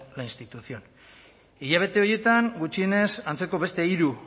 la institución hilabete horietan gutxienez antzeko beste hiru